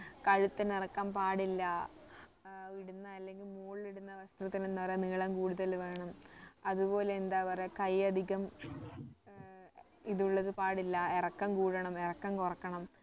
കഴുത്തിന് ഇറക്കം പാടില്ല ഏർ ഇടുന്ന അല്ലങ്കില് മോളിൽ ഇടുന്ന വസ്ത്രത്തിന് എന്താ പറയാ നീളം കൂടുതൽ വേണം അതുപോലെ എന്താ പറയാ കൈ അധികം ഏർ ഇതുള്ളത് പാടില്ല ഇറക്കം കൂടണം ഇറക്കം കുറയ്ക്കണം